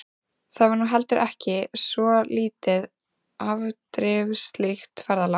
Það var nú heldur ekki svo lítið afdrifaríkt ferðalag.